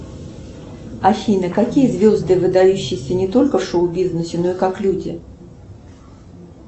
афина какие звезды выдающиеся не только в шоу бизнесе но и как люди